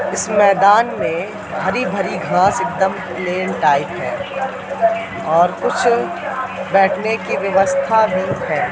इस मैदान में हरी भरी घास एकदम प्लेन टाइप है और कुछ बैठने की व्यवस्था भी है।